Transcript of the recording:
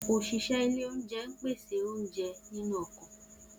Oṣiṣẹ ile ounjẹ n pese ounjẹ ninu ọkọ.